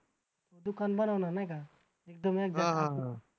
दुकान बनवला नाही का? एकदम एक